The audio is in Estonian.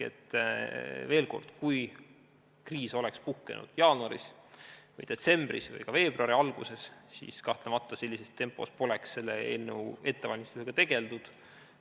Veel kord, kui kriis oleks puhkenud jaanuaris või detsembris või ka veebruari alguses, siis kahtlemata poleks sellises tempos selle eelnõu ettevalmistamisega tegeldud.